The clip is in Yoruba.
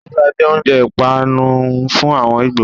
Ùgbá jẹ oúnjẹ ìpápánu fún àwọn Ìgbò.